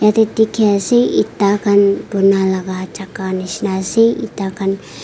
jatte dekhi ase eta khan bona laga jagah nisna ase eta khan--